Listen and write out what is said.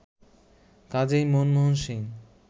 কাজই মনমোহন সিং